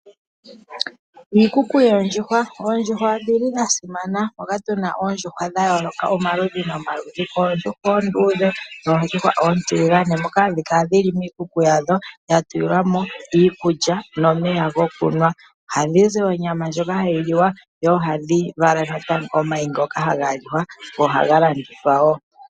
Iikuku yoondjuhwa, oondjuhwa odhili dhasimana, moka tuna oondjuhwa dhayooloka omaludhi nomaludhi, oondjuhwa oonduudhe noondjuhwa oontiligane moka hadhi kala dhili miikuku yadho dha tulilwa mo iikulya nomeya gokunwa. Ohadhi zi oonyama ndjoka hadhi liwa ihe ohadhi vala natango omayi ngoka haga liwa go ohaga landithwa wo.